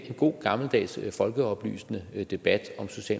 en god gammeldags folkeoplysende debat